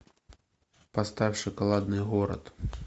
поставь шоколадный город